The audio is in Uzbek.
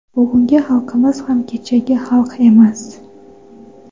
Bugungi xalqimiz ham kechagi xalq emas.